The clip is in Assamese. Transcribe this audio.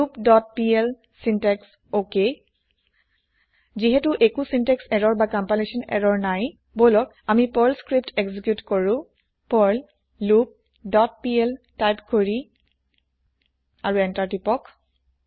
loop dot PL syntax okay যিহেটো একো চিন্তেক্স এৰৰ না কম্পাইলেচ্যন এৰৰ নাই বলক আমি পাৰ্ল স্ক্ৰিপ্ত এক্জি্কিউত কৰো Perl loop dot PL type কৰিলৈ আৰু এন্তাৰ প্ৰেছ কৰি